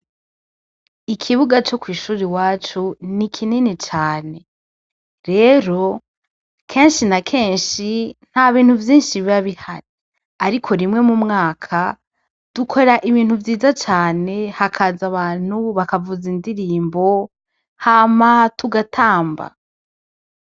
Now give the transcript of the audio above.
Ikibuga co kwishure iwacu, ni kini cane . Rero, kenshi na kenshi ,ntabintu vyinshi biba bihari. Ariko rimwe mu mwaka dukora ibintu vyiza cane, hakaza abantu ,bakavuza indirimbo hama tugatamba.